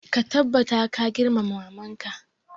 Ka tabbata ka girmama maman ka!